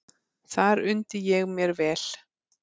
Þar undi ég mér vel.